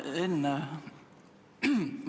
Hea Enn!